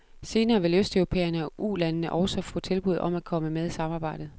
Senere vil østeuropæerne og ulandene så også få tilbud om at komme med i samarbejdet.